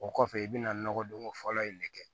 O kɔfɛ i bɛna nɔgɔdonko fɔlɔ in de kɛ